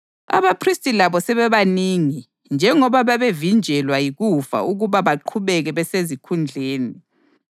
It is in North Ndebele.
Abaphristi labo sebebanengi njengoba babevinjelwa yikufa ukuba baqhubeke besezikhundleni;